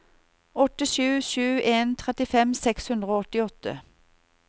åtte sju sju en trettifem seks hundre og åttiåtte